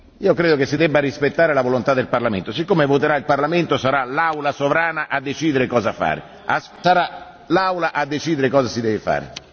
Io credo che si debba rispettare la volontà del Parlamento, siccome voterà il Parlamento, sarà l'Aula sovrana a decidere cosa fare, sarà l'Aula a decidere cosa si deve fare.